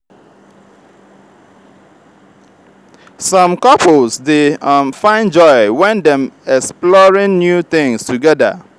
some couples dey um find joy wen dem exploring new things together.